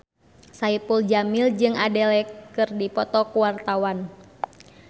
Saipul Jamil jeung Adele keur dipoto ku wartawan